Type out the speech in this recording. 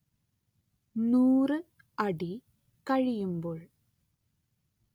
നൂറ് അടി കഴിയുമ്പോൾ